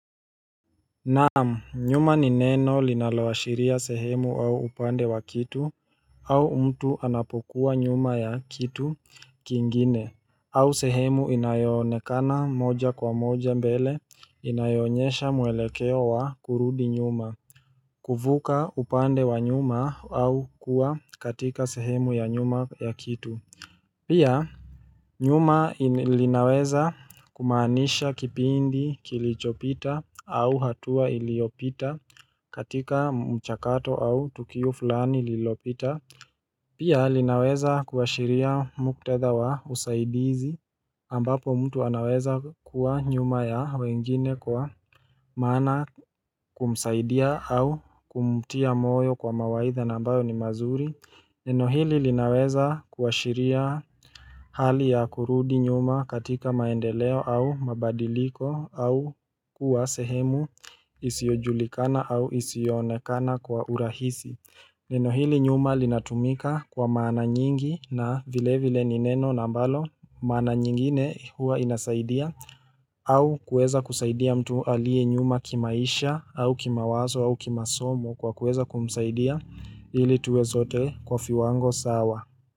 Naam, nyuma ni neno linaloashiria sehemu au upande wa kitu au mtu anapokuwa nyuma ya kitu kingine au sehemu inayoonekana moja kwa moja mbele inayoonyesha mwelekeo wa kurudi nyuma kuvuka upande wa nyuma au kuwa katika sehemu ya nyuma ya kitu Pia nyuma linaweza kumaanisha kipindi kilichopita au hatua iliyopita katika mchakato au tukio fulani lililopita Pia linaweza kuashiria muktadha wa usaidizi ambapo mtu anaweza kuwa nyuma ya wengine kwa maana kumsaidia au kumtia moyo kwa mawaidha na ambayo ni mazuri Neno hili linaweza kuashiria hali ya kurudi nyuma katika maendeleo au mabadiliko au kuwa sehemu isiyojulikana au isiyoonekana kwa urahisi. Neno hili nyuma linatumika kwa maana nyingi na vile vile ni neno na ambalo maana nyingine hua inasaidia au kueza kusaidia mtu aliye nyuma kimaisha au kimawazo au kimasomo kwa kueza kumsaidia ili tuwe sote kwa viwango sawa.